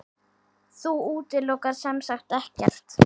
Þú útilokar semsagt ekkert?